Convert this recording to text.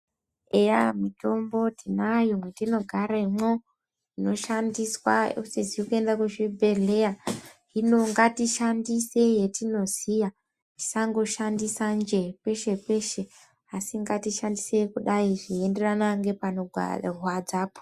Eya mwitombo tinayo mwetinogaremwo inoshandiswa usizi kuenda kuzvibhedhleya, hino ngatishandise yetinoziya, tisangoshandisa njee peshe peshe asi ngatishandise kudai zvinoenderana nepanogwa..rwadzapo.